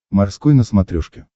морской на смотрешке